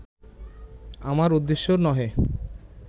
আমার উদ্দেশ্য নহে